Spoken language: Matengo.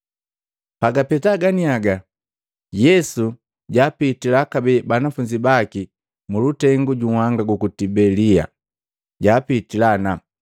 Pagapeta ganiaga Yesu jaapitila kabee banafunzi baki mulutengu ju nhanga guku Tibelia. Jaapitila ana,